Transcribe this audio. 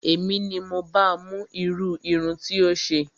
Èmi ni mo ba mú irú irun tí ó ṣe